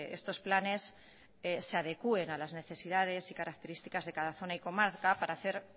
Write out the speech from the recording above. estos planes se adecuen a las necesidades y características de cada zona y comarca para hacer